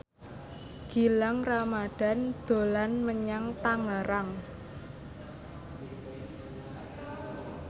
Gilang Ramadan dolan menyang Tangerang